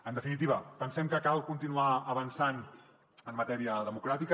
en definitiva pensem que cal continuar avançant en matèria democràtica